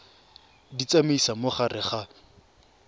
di tsamaisa mo gare ga